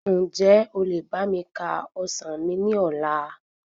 Ǹjẹ́ o lè ka bá mi ka ọsàn mi ní ọ̀la?